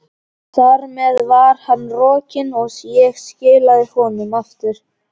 Þar með var hann rokinn, og ég skilaði honum aftur.